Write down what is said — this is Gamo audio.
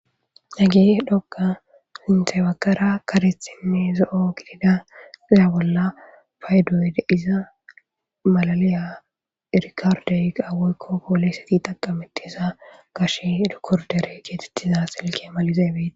nage dhoga sintebagara karethinne zo7o gidida zaya bolla faydoy deiza malaliya irikardey awoykko pooleseti taqametiza gash dkordere geetettiza selke malizeebei